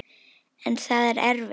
En það er erfitt.